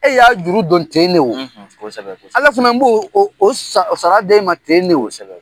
E y'a juru dɔn ten de o, kosɛbɛ , ala fana b'o o sara ten de o.